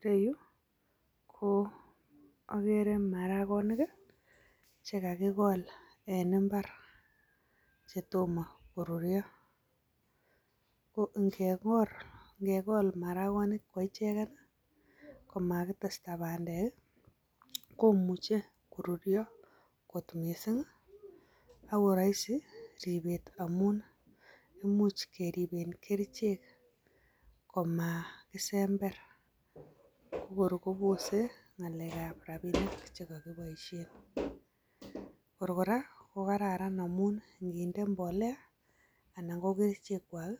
Ireyu, ko, okere maragonik, che kagogol en imbar. Chetomo koruryo. Ko ingegol maragonik koicheget, komagitesta bandek, komuche koruryo ng'ot mising, ako roisi ripeet amun imuch keripen kerchek, Komakisember ko kor kopose ng'alek ab rapinik chekokibiisien. Kor kora, kogararan amun ng'inde mbolea anan ko kerchek kwak,